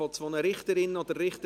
Wir gratulieren von Herzen.